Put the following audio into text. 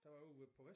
Den var ude ved på